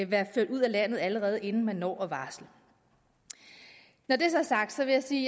være ført ud af landet allerede inden man når at varsle når det så er sagt vil jeg sige